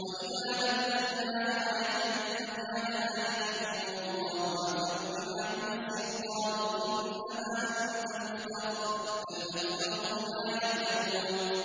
وَإِذَا بَدَّلْنَا آيَةً مَّكَانَ آيَةٍ ۙ وَاللَّهُ أَعْلَمُ بِمَا يُنَزِّلُ قَالُوا إِنَّمَا أَنتَ مُفْتَرٍ ۚ بَلْ أَكْثَرُهُمْ لَا يَعْلَمُونَ